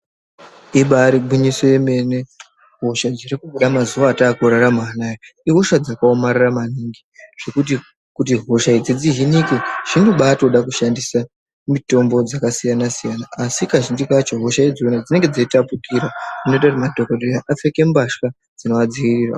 Ibari gwinyiso yemene hoshe dziri kubuda mazuwa ataa kurarama anaa ihosha dzakaomarara maningi zvekuti hosha idzi dzihinike zvinombatoda kushandisa mitombo dzakasiyana-siyana asi kazhinji kacho hosha idzona dzinenge dzeitapukira zvinoita kuti madhokodheya apfeke mbasha dzinoadziirira.